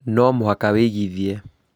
nũ mũhaka wĩĩgithie.